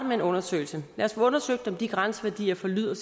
med en undersøgelse lad os få undersøgt om de grænseværdier for lyd og